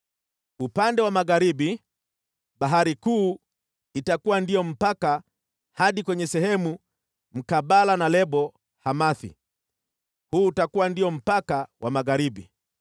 Upande wa magharibi, Bahari Kuu itakuwa ndio mpaka hadi kwenye sehemu mkabala na Lebo-Hamathi. Huu utakuwa ndio mpaka wa magharibi.